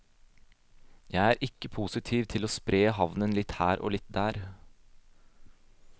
Jeg er ikke positiv til å spre havnen litt her og litt der.